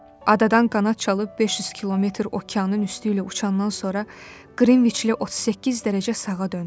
Adadan qanad çalıb 500 kilometr okeanın üstü ilə uçandan sonra Qrinviçlə 38 dərəcə sağa döndüm.